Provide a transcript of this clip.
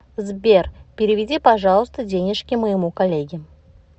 сбер переведи пожалуйста денежки моему коллеге